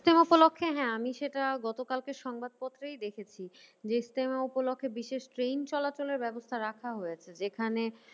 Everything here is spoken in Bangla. ইস্তেমা উপলক্ষে হ্যাঁ আমি সেটা গতকালকে সংবাদপত্রেই দেখেছি যে ইস্তেমা উপলক্ষে বিশেষ ট্রেন চলাচলের ব্যবস্থা রাখা হয়েছে। যেখানে